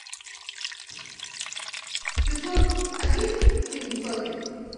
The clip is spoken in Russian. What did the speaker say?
сезон один фильм сотня